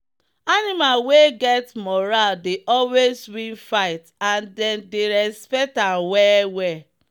animal wey get moral dey always win fights and them dey respect am well well.